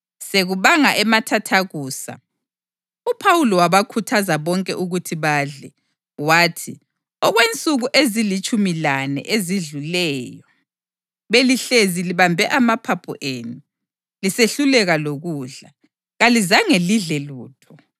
Sekubanga emathathakusa, uPhawuli wabakhuthaza bonke ukuthi badle. Wathi, “Okwensuku ezilitshumi lane ezidluleyo belihlezi libambe amaphaphu enu; lisehluleka lokudla; kalizange lidle lutho.